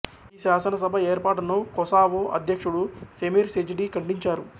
ఈ శాసనసభ ఏర్పాటును కొసావో అధ్యక్షుడు ఫెమిర్ సెజిడి ఖండించారు